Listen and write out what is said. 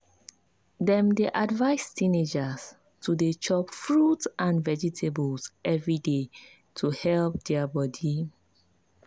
dem dey advise teenagers to dey chop fruit and vegetables every day to help their body.